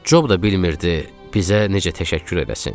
Cob da bilmirdi bizə necə təşəkkür eləsin.